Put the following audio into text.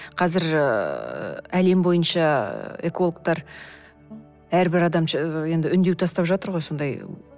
қазір ыыы әлем бойынша ыыы экологтар әр бір адам енді үндеу тастап жатыр ғой сондай